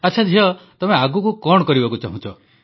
ଆଚ୍ଛା ଝିଅ ତମେ ଆଗକୁ କଣ କରିବାକୁ ଚାହୁଁଛ